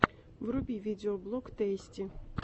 вруби видеоблог тэйсти